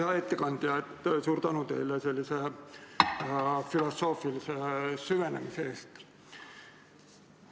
Hea ettekandja, suur tänu teile sellise filosoofilise süvenemise eest!